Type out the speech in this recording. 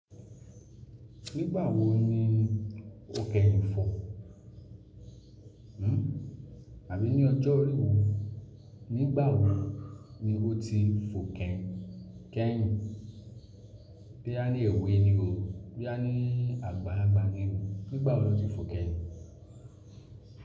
Nígbà wo ni ó kẹ́yìn fò? Àbí ní ọjọ́ orí wo? Nígbà wo ni ó ti fò kẹ́yìn? Bí a ní èwe ni o, bí a ní àgbàlàgbà ni o, nígbà wo lọ ti fò kẹ́yìn?